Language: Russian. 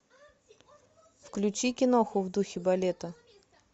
включи киноху в духе балета